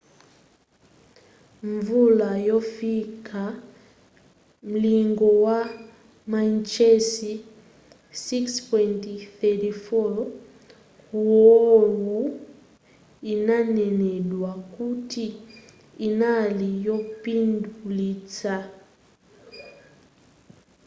mvula yofika mlingo wa mainchesi 6.34 ku oahu inanenedwa kuti inali yopindulitsa